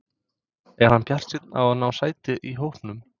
Er hann bjartsýnn á að ná sæti í hópnum?